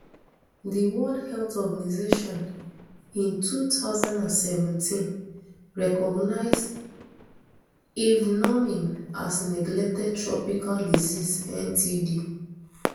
di world health organisation in two thousand and seventeen recognise envenoming as a neglected tropical disease ntd